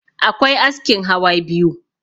akwai askin hawa biyu